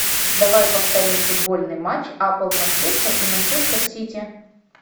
давай повторим футбольный матч апл манчестер и манчестер сити